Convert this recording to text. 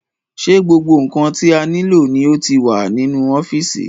Ṣé gbogbo ǹkan tí a nílò ni ó ti wà nínú ọ́fìsì?